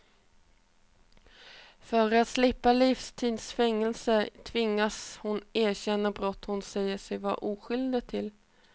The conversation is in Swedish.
För att slippa livstids fängelse tvingades hon erkänna brott hon säger sig vara oskyldig till.